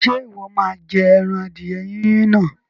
Ṣé Ìwọ́ má jẹ ẹran adìẹ Yínyin náà?